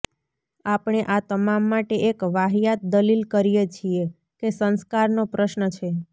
આપણે આ તમામ માટે એક વાહિયાત દલીલ કરીએ છીએ કે સંસ્કારનો પ્રશ્ન છે